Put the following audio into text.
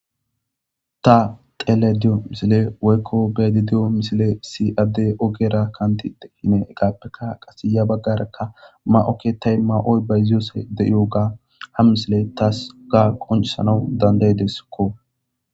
Ta tele diyo misile woykko bedi diyo misile si adde ogera kantiide hine gaappeka qase ya baggarekka ma'okke tay ma'oy bayziyose de'iyoga ha misile taasu ga qoncisanau danday desskko